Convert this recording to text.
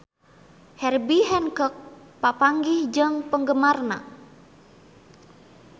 Herbie Hancock papanggih jeung penggemarna